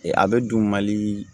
A bɛ dun mali